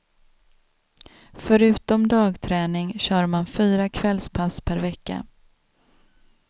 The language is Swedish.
Förutom dagträning kör man fyra kvällspass per vecka.